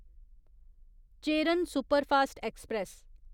Cheran superfast express